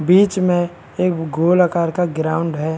बीच में एक गोल आकार का ग्राउंड है।